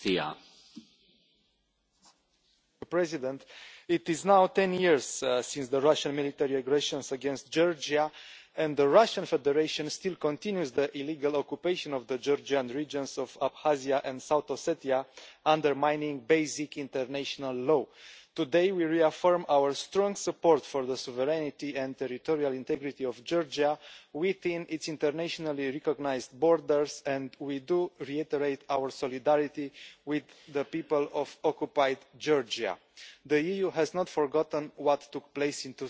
Mr President, it is now 10 years since the Russian military aggression against Georgia, and the Russian Federation still continues the illegal occupation of the Georgian regions of Abkhazia and South Ossetia, undermining basic international law. Today we reaffirm our strong support for the sovereignty and territorial integrity of Georgia within its internationally recognised borders, and we reiterate our solidarity with the people of occupied Georgia. The EU has not forgotten what took place in